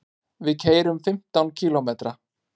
Við keyrum fimmtán kílómetra.